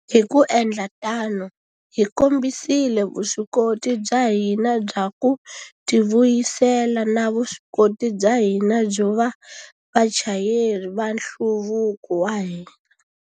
Hi ku endla tano, hi kombisile vuswikoti bya hina bya ku tivuyisela na vuswikoti bya hina byo va vachayeri va nhluvuko wa hina.